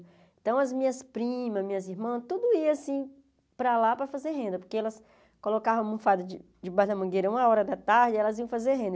Então as minhas primas, minhas irmãs, tudo ia assim para lá para fazer renda, porque elas colocavam a almofada de debaixo da mangueira uma hora da tarde e elas iam fazer renda.